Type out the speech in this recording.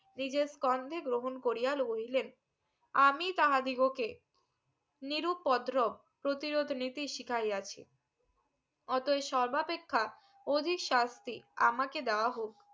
নিজের কন্ধে গ্রহক করিয়া লইলেন আমি তাহাদিগোকে নিরুপদ্রপ প্রতিরোধ নিজে শিখাইয়াছি অতই সর্বাপেক্ষা অদিশাস্তী আমাকে দেওয়া হক